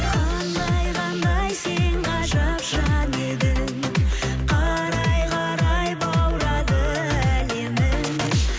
қандай қандай сен ғажап жан едің қарай қарай баурады әлемің